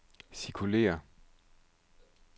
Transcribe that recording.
cirkulér